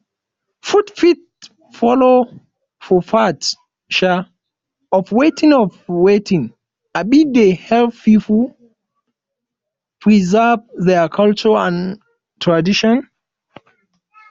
food fit follow for part um of wetin of wetin um dey help pipo um preserve their culture and tradition